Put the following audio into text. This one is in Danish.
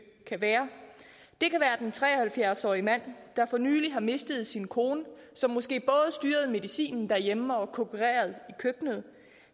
kan være det kan være den tre og halvfjerds årige mand der for nylig har mistet sin kone som måske både styrede medicinen derhjemme og kokkerede i køkkenet